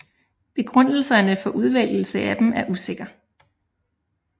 Begrundelserne for udvælgelse af dem er usikker